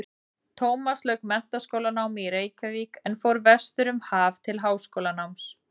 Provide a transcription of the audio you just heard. Tómas lauk menntaskólanámi í Reykjavík en fór vestur um haf til háskólanáms.